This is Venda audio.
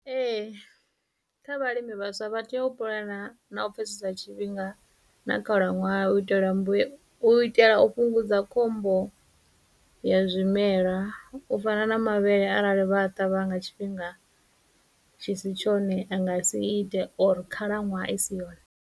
Ee, kha vhalimi vhaswa vha tea u puḽana na u pfhesesa tshifhinga, na khalaṅwaha u itela mbuye, u itela u fhungudza khombo ya zwimela, u fana na mavhele arali vha a ṱavha nga tshifhinga tshi si tshone anga si ite or khalaṅwaha i si yone.